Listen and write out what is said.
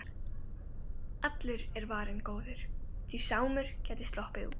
Allur er varinn góður, því Sámur gæti sloppið út.